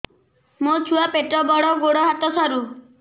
ମୋ ଛୁଆ ପେଟ ବଡ଼ ଗୋଡ଼ ହାତ ସରୁ